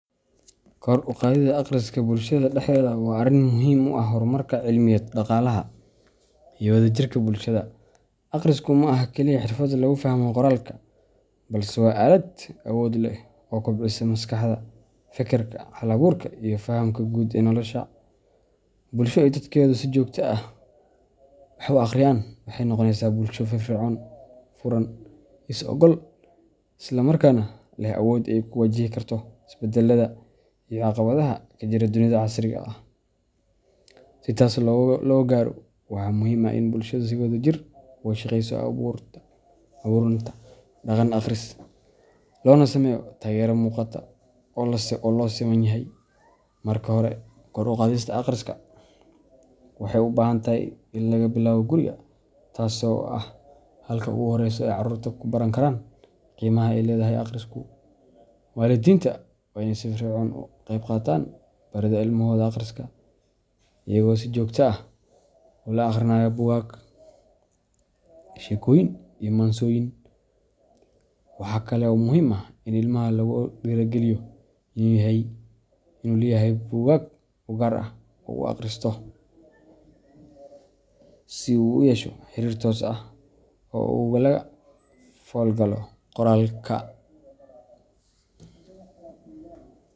Kor u qaadista akhriska bulshada dhexdeeda waa arrin muhiim u ah horumarka cilmiyeed, dhaqaalaha, iyo wadajirka bulshada. Akhrisku ma aha kaliya xirfad lagu fahmo qoraalka, balse waa aalad awood leh oo kobcisa maskaxda, fekerka, hal abuurka, iyo fahamka guud ee nolosha. Bulsho ay dadkeedu si joogto ah wax u akhriyaan waxay noqonaysaa bulsho firfircoon, furan, is ogaal ah, isla markaana leh awood ay ku wajihi karto isbeddellada iyo caqabadaha ka jira dunida casriga ah. Si taas loo gaaro, waxaa muhiim ah in bulshada si wadajir ah uga shaqeyso abuurnta dhaqan akhris, loona sameeyo taageero muuqata oo loo siman yahay. Marka hore, kor u qaadista akhriska waxay u baahan tahay in laga bilaabo guriga, taasoo ah halka ugu horreysa ee carruurtu ku baran karaan qiimaha ay leedahay akhrisku. Waalidiinta waa inay si firfircoon uga qayb qaataan baridda ilmahooda akhriska, iyagoo si joogto ah ula akhrinaya buugaag, sheekooyin, iyo maansooyin. Waxa kale oo muhiim ah in ilmaha lagu dhiirrigeliyo inuu leeyahay buugaag u gaar ah oo uu akhristo, si uu u yeesho xiriir toos ah oo uu ula falgalo qoraalka.